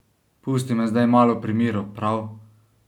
Pusti me zdaj malo pri miru, prav?